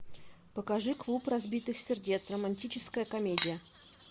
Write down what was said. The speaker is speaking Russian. покажи клуб разбитых сердец романтическая комедия